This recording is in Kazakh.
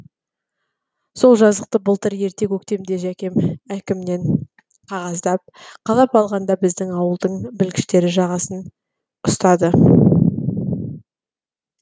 сол жазықты былтыр ерте көктемде жәкем әкімнен қағаздап қалап алғанда біздің ауылдың білгіштері жағасын ұстады